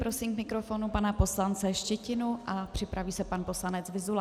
Prosím k mikrofonu pana poslance Štětinu a připraví se pan poslanec Vyzula.